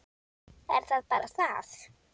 Er það bara það?